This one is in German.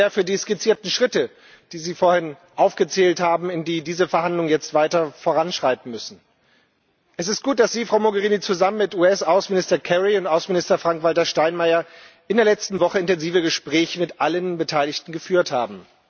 Ich danke Ihnen sehr für die skizzierten Schritte, die Sie vorhin aufgezählt haben, wie diese Verhandlungen jetzt weiter voranschreiten müssen. Es ist gut, dass Sie, Frau Mogherini, zusammen mit US Außenminister Kerry und Außenminister Frank Walter Steinmeier in der letzten Woche intensive Gespräche mit allen Beteiligten geführt haben.